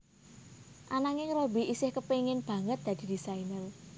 Ananging Robby isih kepengin banget dadi désainer